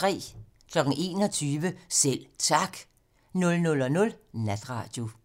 21:00: Selv Tak 00:00: Natradio